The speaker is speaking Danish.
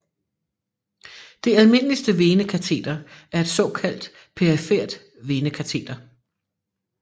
Det almindeligste venekateter er et såkaldt perifert venekateter